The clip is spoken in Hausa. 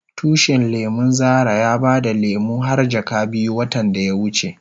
Tushin lemun Zara ya bada lemu har jaka biyu watan da ya wuce.